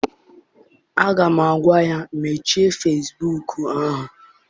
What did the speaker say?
Aga m agwa ya, mechie fesibuuku ahụ!